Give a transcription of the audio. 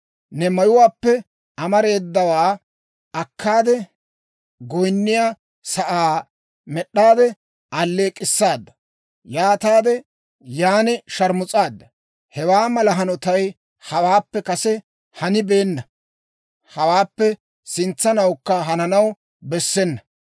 Ne mayuwaappe amareedawaa akkaade, goyniyaa sa'aa med'aade alleek'k'issaada; yaataade yaan sharmus'aadda. Hewaa mala hanotay hawaappe kase hanibeenna; hawaappe sintsanawukka hananaw bessena.